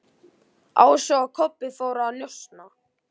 Ási og Kobbi fóru að njósna.